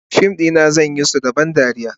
fim na zane suna da ban dariya,